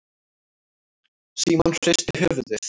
Símon hristi höfuðið.